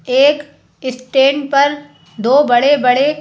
एक स्टैंड पर दो बड़े-बड़े--